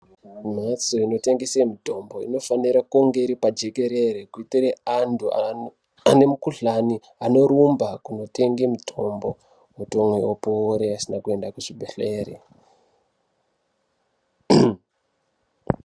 Mbatso inotengeswa mitombo inofanira kunge iri pajekerere kuitira antu ane mikuhlani anorumba kundotenga mitombo otomwa opora asina kuenda kuzvibhedhlera.